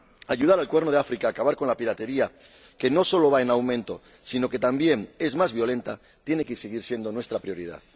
Ayudar al Cuerno de África a acabar con la piratería, que no solo va en aumento sino que también es cada vez más violenta, tiene que seguir siendo nuestra prioridad.